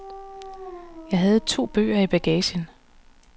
Jeg havde to bøger i bagagen.